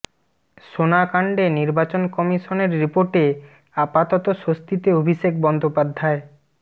সোনা কাণ্ডে নির্বাচন কমিশনের রিপোর্টে আপাতত স্বস্তিতে অভিষেক বন্দ্যোপাধ্যায়